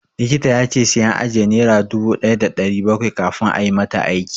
Likita ya ce sai an ajiye naira dubu ɗaya da ɗari bakwai kafin ayi mata aiki.